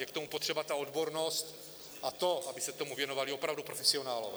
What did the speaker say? Je k tomu potřeba ta odbornost a to, aby se tomu věnovali opravdu profesionálové.